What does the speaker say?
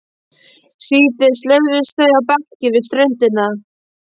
Síðdegis lögðust þau á bekki við ströndina.